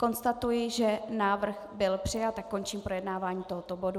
Konstatuji, že návrh byl přijat, a končím projednávání tohoto bodu.